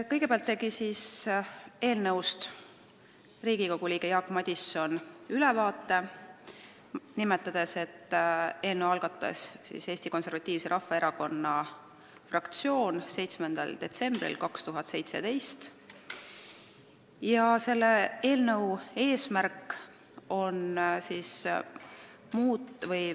Kõigepealt tegi Riigikogu liige Jaak Madison eelnõust ülevaate, nimetades, et eelnõu algatas Eesti Konservatiivse Rahvaerakonna fraktsioon 7. detsembril 2017.